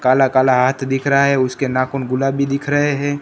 काला काला हाथ दिख रहा है। उसके नाखून गुलाबी दिख रहे हैं।